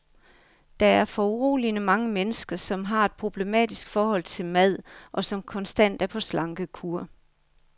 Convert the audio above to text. Der er foruroligende mange mennesker, som har et problematisk forhold til mad, og som konstant er på slankekur.